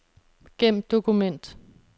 Gem dokument.